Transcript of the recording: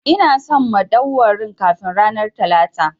Ina son madauwarin kafin ranar Talata!